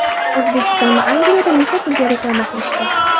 O‘zbekistonni Angliyada necha pulga reklama qilishdi?